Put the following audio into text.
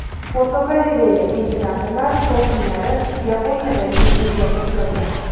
Fotogalereya: Imperatorlar kofunlari Yaponiyadagi eng yopiq joylar.